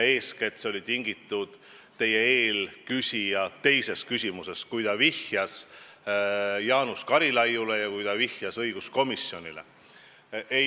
Eeskätt oli see tingitud eelküsija teisest küsimusest, kui ta vihjas Jaanus Karilaidile ja õiguskomisjonile.